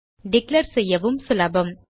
declare செய்யவும் சுலபம்